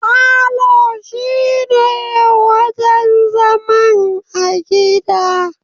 Falo shine wajan zaman a gida